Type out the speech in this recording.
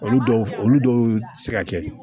Olu dɔw olu dɔw tɛ se ka kɛ